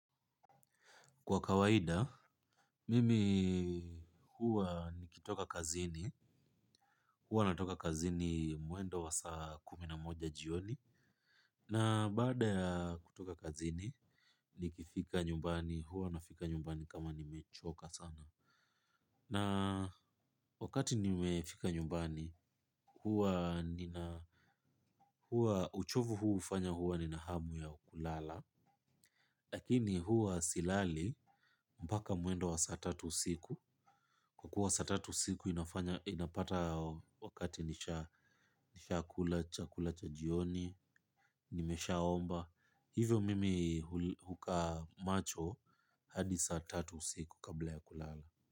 Kwa kawaida, mimi huwa nikitoka kazini, huwa natoka kazini mwendo wasaa kuminamoja jioni, na baada ya kutoka kazini, nikifika nyumbani, huwa nafika nyumbani kama nimechoka sana. Na wakati nimefika nyumbani, huwa uchovu huu ufanya huwa nina hamu ya kulala, lakini huwa silali mpaka mwendo wa saatatu siku. Kwa kuwa saa tatu usiku inafanya inapata wakati nisha nishakula chakula cha jioni nimeshaomba. Hivyo mimi hukaa macho hadi saatatu usiku kabla ya kulala.